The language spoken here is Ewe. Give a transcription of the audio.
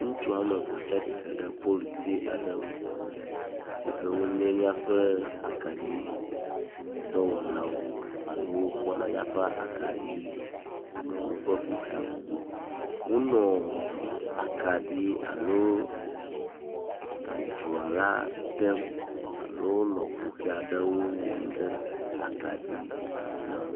Ŋutsu ame eve tsi atsitre ɖe polutsi aɖe ŋu si ke wonye míaƒe akaɖidɔwɔlawo alo wo kpɔna míaƒe akaɖiwo ƒe kuxiwo gbɔ. Wonɔ akaɖi alo dzoa la dem alo wonɔ kuxi aɖewo wɔm ɖe akaɖi laŋu.